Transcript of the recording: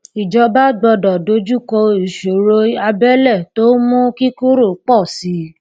ìjọba gbọdọ dojúkọ ìṣòro abẹlẹ tó ń mú kíkúrò pọ sí i